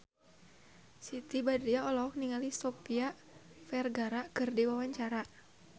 Siti Badriah olohok ningali Sofia Vergara keur diwawancara